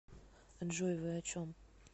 джой вы о чем